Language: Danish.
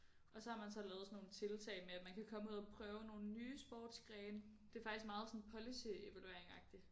Og så har man så lavet sådan nogle tiltag med at man kan komme ud og prøve nogle nye sportsgrene det er faktisk meget sådan policy evaluering agtigt